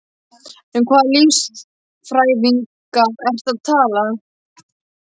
Um hvaða listfræðinga ertu að tala?